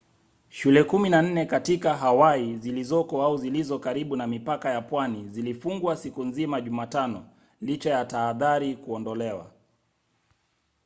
shule kumi na nne katika hawaii zilizoko au zilizo karibu na mipaka ya pwani zilifungwa siku nzima jumatano licha ya tahadhari kuondolewa